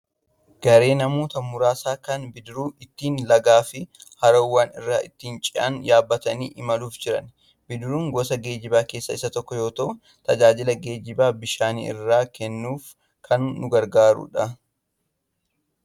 Garee namoota muraasaa kan bidiruu ittiin lagaa fi haroowwan irra ittiin ce'an yaabbatanii imaluuf jiran. Bidiruun gosa geejjibaa keessaa isa tokko yoo ta'u, tajaajila geejjibaa bishaan irraa kennuuf kan nu gargaarudha.